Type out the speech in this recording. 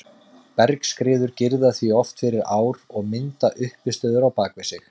Bergskriður girða því oft fyrir ár og mynda uppistöður á bak við sig.